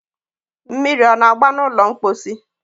mmiri ọ na-agba n'ụlọ mkposi?